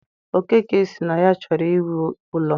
Okeke sị na ya chọrọ iwu ụlọ.